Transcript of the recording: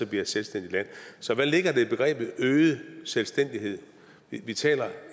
bliver et selvstændigt land så hvad ligger der i begrebet øget selvstændighed vi taler om